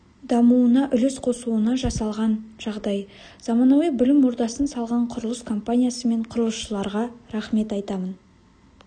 дамуына үлес қосуына жасалған жағдай заманауи білім ордасын салған құрылыс компаниясы мен құрылысшыларға рахмет айтамын